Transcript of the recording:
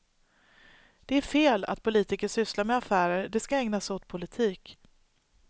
Det är fel att politiker sysslar med affärer, de ska ägna sig åt politik.